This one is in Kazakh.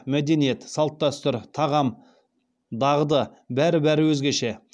мәдениет салт дәстүр тағам дағды бәрі бәрі өзгеше